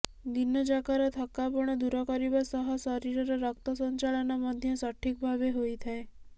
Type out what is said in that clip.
ଦିନ ଯାକର ଥକ୍କାପଣ ଦୂର କରିବା ସହ ଶରୀରର ରକ୍ତ ସଂଚାଳନ ମଧ୍ୟ ସଠିକ ଭାବେ ହୋଇଥାଏ